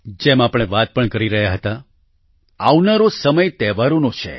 જેમ આપણે વાત પણ કરી રહ્યા હતા આવનારો સમય તહેવારોનો છે